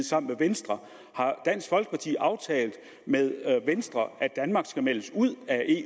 sammen med venstre har dansk folkeparti aftalt med venstre at danmark skal meldes ud